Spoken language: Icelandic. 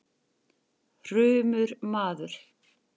hrumur maður.